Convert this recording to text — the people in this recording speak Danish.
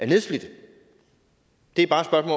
nedslidte det er bare et